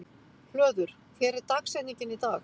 Hlöður, hver er dagsetningin í dag?